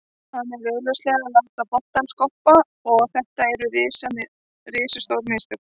Hann er augljóslega að láta boltann skoppa og þetta eru risastór mistök.